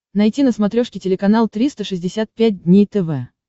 найти на смотрешке телеканал триста шестьдесят пять дней тв